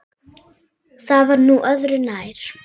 Það var nú öðru nær.